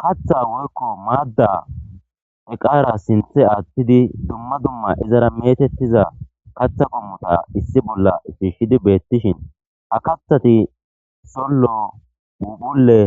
Katha woykko maadda eqaara sinthe aattidi dumma dumma izara metettiza katha gommota issi bolla shishidi beettishin ha kathati sollo phuuphphulleule